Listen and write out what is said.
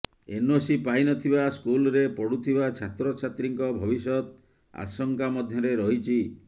NOC ପାଇନଥିବା ସ୍କୁଲ୍ରେ ପଢୁଥିବା ଛାତ୍ରଛାତ୍ରୀଙ୍କ ଭବିଷ୍ୟତ ଆଶଙ୍କା ମଧ୍ୟରେ ରହିଛି